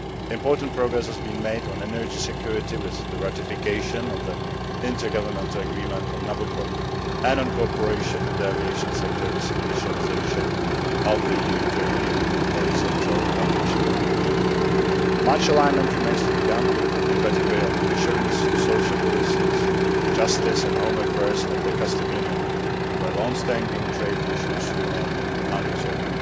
Important progress has been made on energy security with the ratification of the intergovernmental agreement on Nabucco, and on cooperation in the aviation sector with initialisation of the EU Turkey horizontal aviation agreement. Much alignment remains to be done, particularly on fisheries, social policies, justice and home affairs, and the customs union where longstanding trade issues remain unresolved.